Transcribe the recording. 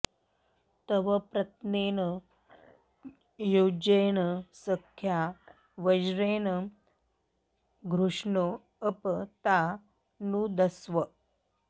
तव॑ प्र॒त्नेन॒ युज्ये॑न॒ सख्या॒ वज्रे॑ण धृष्णो॒ अप॒ ता नु॑दस्व